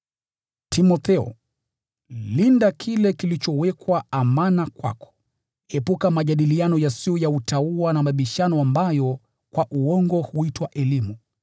Timotheo, linda kile kilichowekwa amana kwako. Epuka majadiliano yasiyo ya utauwa na mabishano ambayo kwa uongo huitwa elimu,